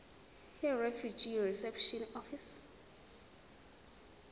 yirefugee reception office